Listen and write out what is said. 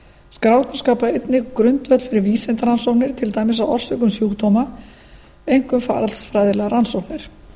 skrárnar skapa einnig grundvöll fyrir vísindarannsóknir til dæmis á orsökum sjúkdóma einkum faralds fræðilegar rannsóknir